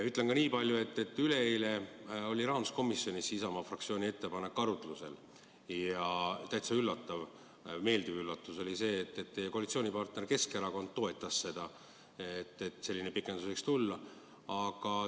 Ütlen ka niipalju, et üleeile oli rahanduskomisjonis Isamaa fraktsiooni ettepanek arutlusel ja täitsa meeldiv üllatus oli see, et teie koalitsioonipartner Keskerakond toetas pikendamist.